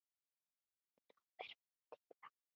Nú er vonandi lag.